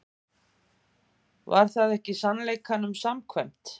Var það ekki sannleikanum samkvæmt?